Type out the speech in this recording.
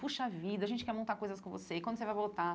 Poxa vida, a gente quer montar coisas com você, e quando você vai voltar?